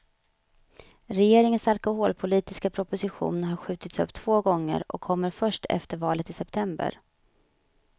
Regeringens alkoholpolitiska proposition har skjutits upp två gånger och kommer först efter valet i september.